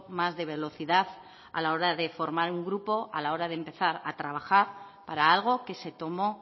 más de velocidad a la hora de formar un grupo a la hora de empezar a trabajar para algo que se tomó